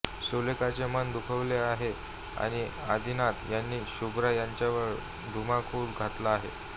सुलेखाचे मन दुखले आहे आणि आदिनाथ आणि शुभ्रा यांच्यावर धुमाकूळ घातला आहे